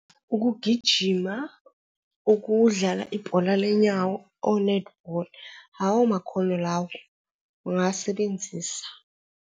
Ukugijima, ukudlala ibhola lenyawo onethibholi, lawo makhono lawo ungasebenzisa.